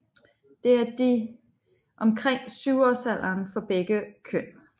Det er de omkring 7 årsalderen for begge køn